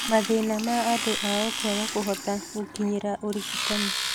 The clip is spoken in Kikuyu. mathĩna ma andũ ao kwaga kũhota gũkinyĩra ũrigitani.